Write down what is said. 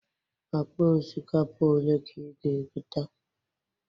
Akpa osikapa ole ka ị ga-egote?